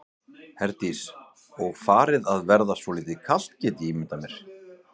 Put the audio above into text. Herdís: Og farið að verða svolítið kalt get ég ímyndað mér?